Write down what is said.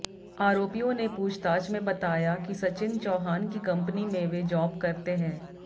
आरोपियों ने पूछताछ में बताया कि सचिन चौहान की कंपनी में वे जॉब करते है